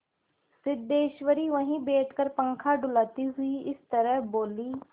सिद्धेश्वरी वहीं बैठकर पंखा डुलाती हुई इस तरह बोली